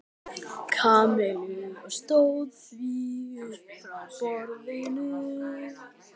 Kamillu og stóð því upp frá borðinu.